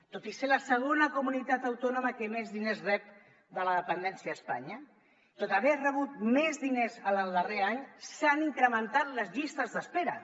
tot i ser la segona comunitat autònoma que més diners rep de la dependència a espanya tot i haver rebut més diners en el darrer any s’han incrementat les llistes d’espera